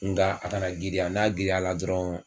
Nka a kana girinya. N'a girinyala dɔrɔn